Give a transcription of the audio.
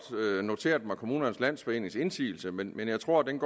noteret mig kommunernes landsforenings indsigelse men men jeg tror den